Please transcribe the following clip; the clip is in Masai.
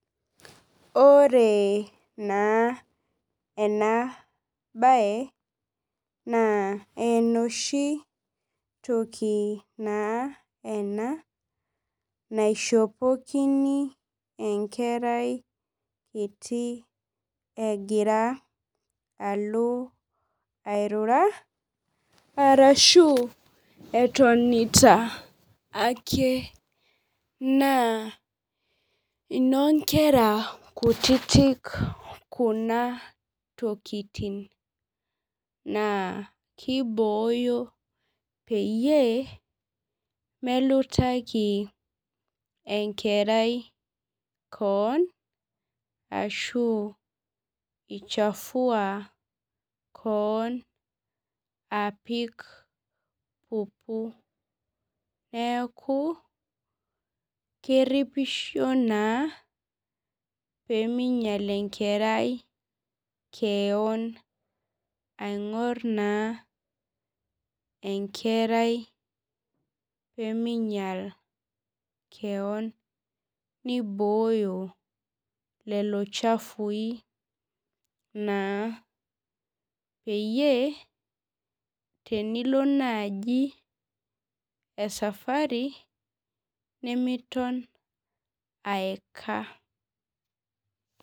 Ore naa ena bae naa enoshi toki naa ena naishopokini enkerai kiti egira alo airura arashu etonita ake naa ino nkera kutitik kuna tokitin. Naa kiboyo peyie melutaki enkerai keon ashu ii chafua keon apik pupu neeku keripisho naa peminyak enkerai keon aing'or naa enkerai pemeinyal keon. Niboyo lelo chafu i peyie tenilo naji ee safari nemilo aeka.